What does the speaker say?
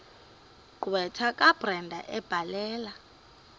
gqwetha kabrenda ebhalela